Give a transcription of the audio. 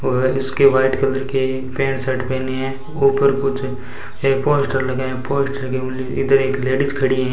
वह उसके white colour के पेंट शर्ट पहनी हैं ऊपर कुछ पोस्टर लगाए हैं पोस्टर इधर एक लेडिज खड़ी हैं।